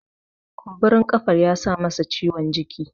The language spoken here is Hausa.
kumburin kafar ya sa masa ciwon jiki